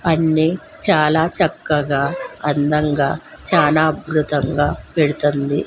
అన్ని చాలా చక్కగా అందంగా చాలా అద్భుతంగా పెడుతుంది.